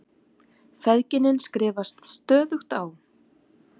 Feðginin skrifast stöðugt á.